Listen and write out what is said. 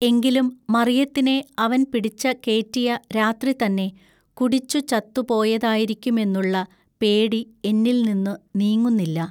എങ്കിലും മറിയത്തിനെ അവൻ പിടിച്ച കേറ്റിയ രാത്രി തന്നെ കുടിച്ചു ചത്തു പോയതായിരിക്കുമെന്നുള്ള പേടി എന്നിൽനിന്നു നീങ്ങുന്നില്ല.